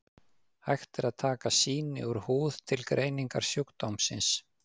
hægt er að taka sýni úr húð til greiningar sjúkdómsins